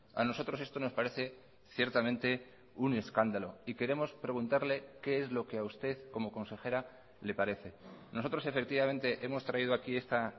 a nosotros esto nos parece ciertamente un escándalo y queremos preguntarle qué es lo que a usted como consejera le parece nosotros efectivamente hemos traído aquí esta